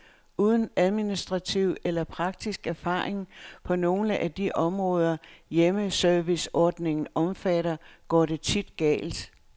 Uden administrativ eller praktisk erfaring på nogle af de områder, hjemmeserviceordningen omfatter, går det tit galt.